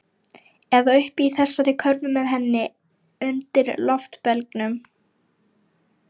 Eða uppi í þessari körfu með henni. undir loftbelgnum.